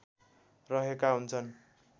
रहेका हुन्छन्